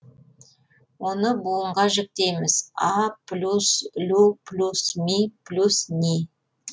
оны буынға жіктейміз а плюс лю плюс ми плюс ний